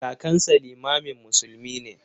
Kakansa limamin musulmi ne.